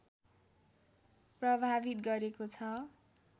प्रभावित गरेको छ